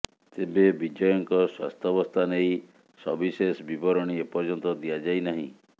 ତେବେ ବିଜୟଙ୍କ ସ୍ୱାସ୍ଥ୍ୟବସ୍ଥା ନେଇ ସବିଶେଷ ବିବରଣୀ ଏପର୍ଯ୍ୟନ୍ତ ଦିଆଯାଇନାହିଁ